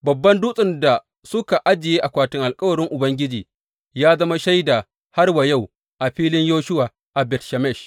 Babban dutsen da suka ajiye akwatin alkawarin Ubangiji, ya zama shaida har wa yau a filin Yoshuwa a Bet Shemesh.